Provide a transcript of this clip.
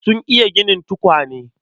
Sun iya ginin tukwane.